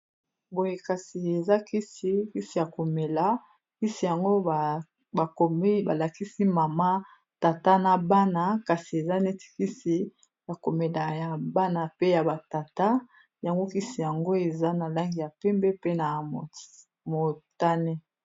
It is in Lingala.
Boye kasi eza kisi, kisi ya komela kisi yango bakomi balakisi mama tata na bana kasi eza neti kisi ya komela ya bana pe ya ba tata yango kisi yango eza na langi ya pembe pe na motane.